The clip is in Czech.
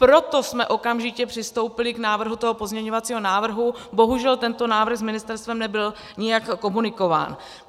Proto jsme okamžitě přistoupili k návrhu toho pozměňovacího návrhu, bohužel tento návrh s ministerstvem nebyl nijak komunikován.